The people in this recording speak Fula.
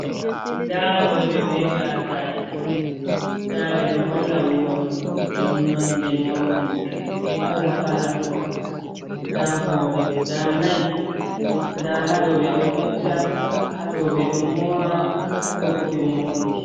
Ndaa rowɓe be gasaaji ,ndaa ɓe ɗo holla morɗi .Nonde morɗi kala kala ,ndaa hoore guda nayi ,ndaa haa ɗo ɓe ɗo fecca, haa ɗo ɓe ɗo moora, haa ɗo bo ɓe mooridi.